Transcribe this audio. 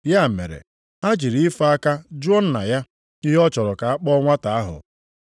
Ya mere, ha jiri ife aka jụọ nna ya, ihe ọ chọrọ ka akpọ nwata ahụ.